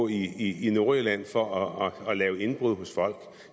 i nordjylland for at lave indbrud hos folk